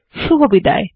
শুভবিদায়